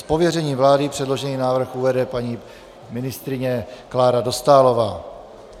Z pověření vlády předložený návrh uvede paní ministryně Klára Dostálová.